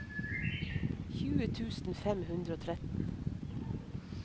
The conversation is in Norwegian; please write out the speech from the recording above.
tjue tusen fem hundre og tretten